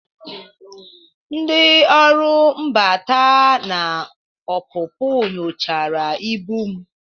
Ndị ọrụ mbata na ọpụpụ nyochara ibu m